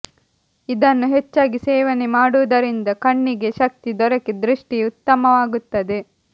ಇದನ್ನು ಹೆಚ್ಚಾಗಿ ಸೇವನೆ ಮಾಡುವುದರಿಂದ ಕಣ್ಣಿಗೆ ಶಕ್ತಿ ದೊರಕಿ ದೃಷ್ಟಿ ಉತ್ತಮವಾಗುತ್ತದೆ